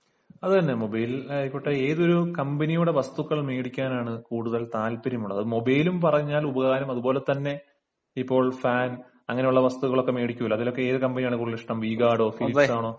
അതുതന്നെ മൊബൈൽ ആയിക്കോട്ടെ ഏതൊരു കമ്പനിയുടെ വസ്തുക്കൾ മേടിക്കാനാണ് കൂടുതൽ താല്പര്യം ഉള്ളത് അത് മൊബൈലും പറഞ്ഞാൽ ഉപകാരം അതുപോലെതന്നെ ഇപ്പോൾ ഫാൻ അങ്ങനെയുള്ള വസ്തുക്കൾ ഒക്കെ മേടിക്കുമല്ലോ അതിലൊക്കെ ഏതു കമ്പനി ആണ് ഇഷ്ടം ഇഷ്ടം വി ഗാർഡോ ഫിലിപ്സ് ആണോ